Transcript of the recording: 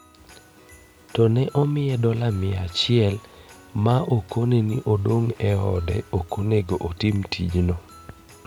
To ne omiye dola mia achiel ma okone ni odog e ode okonego otim tijno.